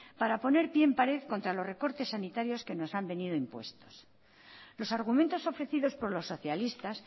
para poner pie en pared contra los recortes sanitarios que nos han venido impuestos los argumentos ofrecidos por los socialistas